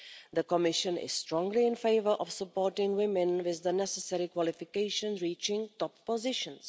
The Commission is strongly in favour of supporting women with the necessary qualifications reaching top positions.